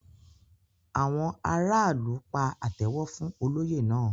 Àwọn aráàlú pa àtẹ́wọ́ fún olóyè náà.